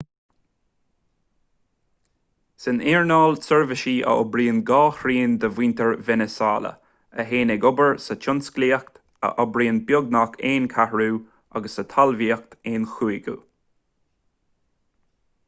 san earnáil seirbhísí a oibríonn dhá thrian de mhuintir veiniséala a théann ag obair sa tionsclaíocht a oibríonn beagnach aon cheathrú agus sa talmhaíocht aon chúigiú